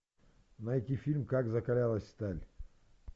найти фильм как закалялась сталь